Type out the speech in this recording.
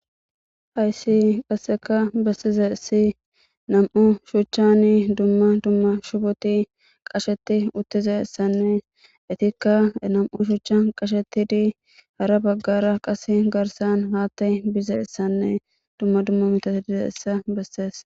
hayssi qasseka bessize si nam7u shuchchani dumma dumma shuboti qasheti uttize issanne itikka nam7u shuchchan qasheti dii hara baggara qas garsan haatta bize issanne dumma dumma mitasi bize issa bessees